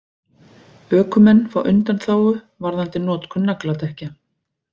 Ökumenn fá undanþágu varðandi notkun nagladekkja